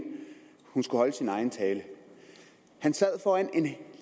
hun skulle holde sin egen tale han sad foran en